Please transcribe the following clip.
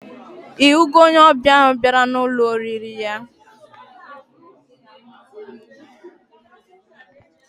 Ihugo onye obia ahu biara na Ụlọ oriri ya?